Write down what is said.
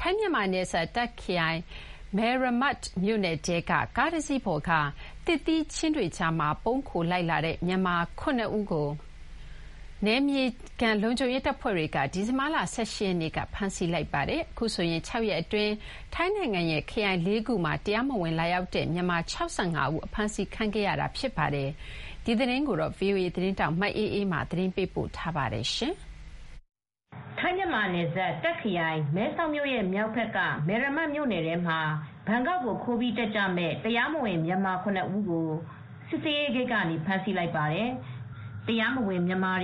ထိုင်းမြန်မာနယ်စပ် တာ့ခရိုင် မဲရမတ်မြို့နယ်ထဲက ကားတစီးပေါ်မှာ သစ်သီးခြင်းတွေကြားထဲ ပုန်းခို လိုက်ပါလာတဲ့ မြန်မာ ၇ ဦးကို နယ်မြေခံ လုံခြုံရေးတပ်ဖွဲ့တွေက ဒီဇင်ဘာလ ၁၈ ရက်နေ့က ဖမ်းဆီးခဲ့ပါတယ်။ ဒီတခါဖမ်းဆီးမှုနဲ့ဆိုရင် ၆ ရက်အတွင်း ထိုင်းနိုင်ငံရဲ့ ခရိုင် ၄ ခုမှာ တရားမဝင် လာရောက် တဲ့ မြန်မာ ၆၅ ဦး အဖမ်းဆီးခံခဲ့ရပါတယ်။ ဒီသတင်းကို ဗွီအိုအေသတင်းထောက် မအေးအေးမာက သတင်းပေးပို့ထားပါတယ်။ ထိုင်းမြန်မာနယ်စပ် မဲဆောာက်မြို့ရဲ့မြောက်ဘက်မှာရှိတဲ့ မဲမရမတ်မြို့နယ်ထဲမှာ ဘန်ကောက်ကို သွားဖို့ကြိုးစားကြတဲ့ အထောက်ထားမပါတဲ့ မြန်မာ ၇ ဦးကို စစ်ဆေးရေးဂိတ်က ဖမ်းဆီးလိုက်တာ ဖြစ်ပါတယ်။ သူတို့ဟာ